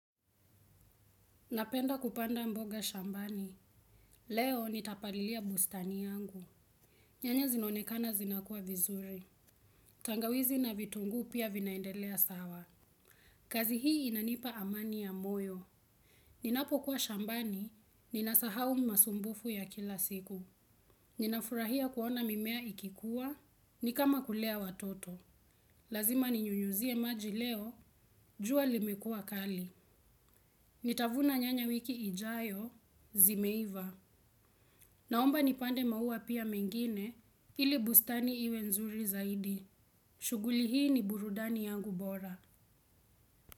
Napenda kupanda mboga shambani. Leo nitapalilia bustani yangu. Nyanya zinaonekana zinakua vizuri. Tangawizi na vitungu pia vinaendelea sawa. Kazi hii inanipa amani ya moyo. Ninapokuwa shambani, ninasahau masumbufu ya kila siku. Ninafurahia kuona mimea ikikuwa, ni kama kulea watoto. Lazima ninyunyuzie maji leo, jua limekua kali. Nitavuna nyanya wiki ijayo, zimeiva. Naomba nipande maua pia mengine ili bustani iwe nzuri zaidi. Shuguli hii ni burudani yangu bora.